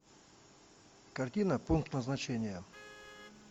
картина пункт назначения